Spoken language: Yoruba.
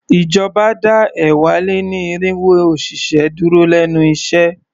Ìjọba dá ẹ̀wá-lé-ní-irínwó òṣìṣẹ́ dúró lénu iṣẹ́.